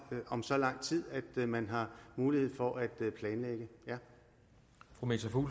om så lang tid at man har mulighed for at planlægge